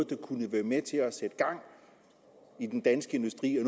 der kunne være med til at sætte gang i den danske industri og